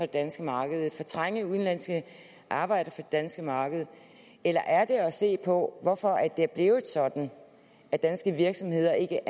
danske marked fortrænge udenlandske arbejdere det danske marked eller er det at se på hvorfor det er blevet sådan at danske virksomheder ikke